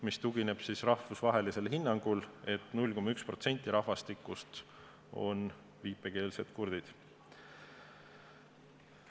See tugineb rahvusvahelisele hinnangule, et 0,1% rahvastikust on viipekeelsed kurdid.